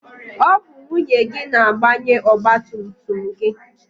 Ọ bụ nwunye gị na-agbanye ọgbatumtum gị.